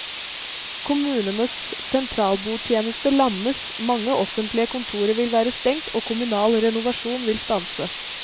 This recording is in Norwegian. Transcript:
Kommunenes sentralbordtjeneste lammes, mange offentlige kontorer vil være stengt og kommunal renovasjon vil stanse.